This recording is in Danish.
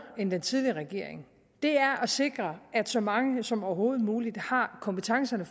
end den tidligere regering er at sikre at så mange som overhovedet muligt har kompetencerne